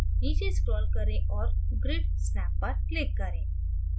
नीचे scroll करें और grid snap पर click करें